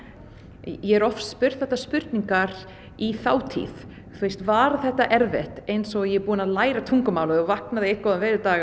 ég er oft spurð þetta spurningar í þátíð var þetta erfitt eins og ég sé búin að læra tungumálið og vaknaði einn góðan veðurdag og